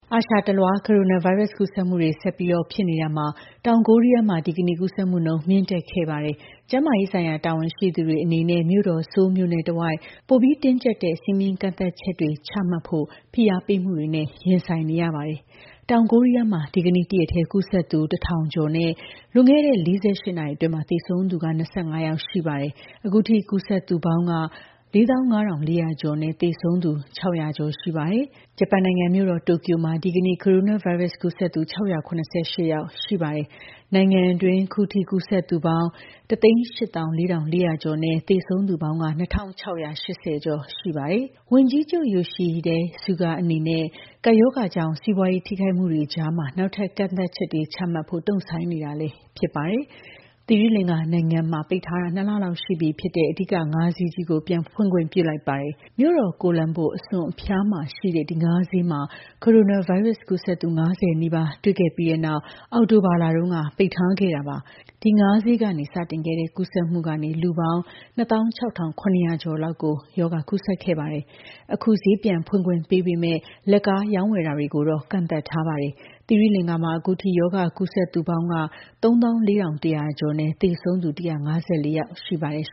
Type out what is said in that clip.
အာရှတလွှား ကိုရိုနာဗိုင်းရပ်စ် ကူးစက်မှုတွေ ဆက်ပြီးဖြစ်နေတာမှာ တောင်ကိုရီးယားမှာ ဒီကနေ့ ကူးစက်မှုနှုန်း မြင့်တက်ခဲ့ပါတယ်။ ကျန်းမာရေးဆိုင်ရာ တာဝန်ရှိသူတွေအနေနဲ့ မြို့တော် Soul မြို့နဲ့ တဝိုက်ပိုပြီး တင်းကြပ်တဲ့ စည်းမျဉ်းကန့်သတ်ချက်တွေ ချမှတ်ဖို့ ဖိအားပေးမှုတွေနဲ့ ရင်ဆိုင်နေရပါတယ်။ တောင်ကိုရီးယားမှာ ဒီကနေ့ တရက်ထဲ ကူးစက်သူ ၁,၀၇၈ ယောက်နဲ့ လွန်ခဲ့တဲ့ ၄၈ နာရီအတွင်း သေဆုံးသူက ၂၅ ယောက်ရှိပါတယ်။ အခုထိ စုပေါင်း ကူးစက်သူ ၄၅,၄၀၀ ကျော်နဲ့ သေဆုံးသူပေါင်း ၆၀၀ ကျော်ရှိပါတယ်။ ဂျပန်နိုင်ငံ မြို့တော်တိုကျို မှာ ဒီကနေ့ ကိုရိုနာဗိုင်းရပ်စ် ကူးစက်သူ ၆၇၈ ယောက်ရှိပါတယ်။ တနိုင်ငံလုံးအတိုင်းအတာနဲ့အင်္ဂါနေ့က ကူးစက်သူ ၂,၄၀၀ ကျော်ရှိပါတယ်။ နိုင်ငံတွင်း အခုထိ ကူးစက်သူပေါင်း ၁၈၄,၄၀၀ ကျော်နဲ့ သေဆုံးသူပေါင်း ၂,၆၈၀ ကျော်ရှိတာပါ။ ဝန်ကြီးချုပ် Yoshihide Suga အနေနဲ့ ကပ်ရောဂါကြောင့် စီးပွါးရေးထိခိုက်မှုတွေကြား နောက်ထပ်ကန့်သတ်ချက်တွေ ချမှတ်ဖို့ တုန့်ဆိုင်းနေတာလည်း ဖြစ်ပါတယ်။ သီရိလင်္ကာနိုင်ငံမှာ ပိတ်ထားတာ ၂ လလောက်ရှိနေပြီဖြစ်တဲ့ အဓိက ငါးဈေးကြီးကို ပြန်ဖွင့်ခွင့်ပြုလိုက်ပါတယ်။ မြို့တော် Colombo အစွန်အဖျားမှာရှိတဲ့ ဒီငါးဈေးမှာ ကိုရိုနာဗိုင်းရပ်စ် ကူးစက်သူ ၅၀ နီးပါးတွေ့ခဲ့ပြီးတဲ့နောက် အောက်တိုဘာလတုန်းက ပိတ်ထားခဲ့တာပါ။ ဒီငါးဈေးကနေ စတင်ခဲ့တဲ့ ကူးစက်မှုကနေ လူပေါင်း ၂၆,၇၀၀ ကျော်လောက်ကို ရောဂါကူးစက်ခဲ့ပါတယ်။ အခု ဈေးပြန်ဖွင့်ခွင့်ပေးပေမဲ့ လက်ကားရောင်းဝယ်တာကိုတော့ ကန့်သတ်ထားပါတယ်။ သီရိလင်္ကာမှာ အခုထိ ရောဂါကူးစက်သူပေါင်း ၃၄,၁၀၀ ကျော်နဲ့ သေဆုံးသူ ၁၅၄ ယောက်ရှိပါတယ်။